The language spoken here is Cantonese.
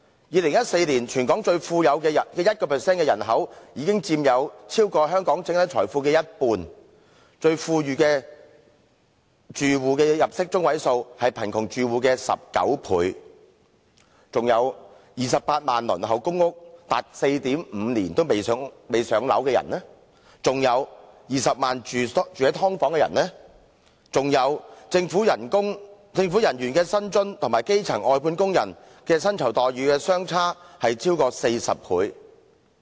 2014年全港最富有的 1% 人口，已佔香港整體財富超過一半；最富裕的住戶入息中位數，是貧窮住戶的19倍；有28萬人輪候公屋長達 4.5 年仍未"上樓"；有20萬人居於"劏房"，以及政府人員的薪津與基層外判工人薪酬待遇的相差超過40倍。